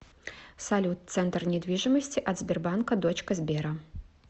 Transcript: салют центр недвижимости от сбербанка дочка сбера